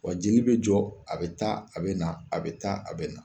Wa jeli be jɔ a be taa a be na a be taa a be na